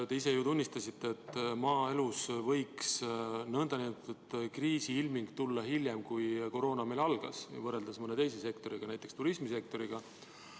Te ise ju tunnistasite, et maaelus võib kriisiilming tulla hiljem, kui koroona meil algas, võrreldes mõne teise sektoriga, näiteks turismisektoriga.